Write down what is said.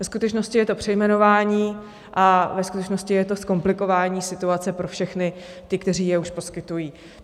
Ve skutečnosti je to přejmenování a ve skutečnosti je to zkomplikování situace pro všechny, kteří je už poskytují.